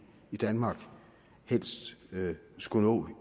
i danmark helst skulle nå